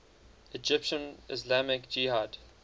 egyptian islamic jihad